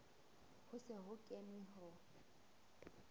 ho se ho kenwe ho